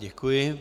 Děkuji.